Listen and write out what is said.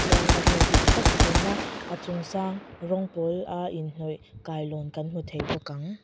chuan a view dik tak thlirna a chung sâng rawng pâwla inhnawih kailawn kan hmu thei bawk ang.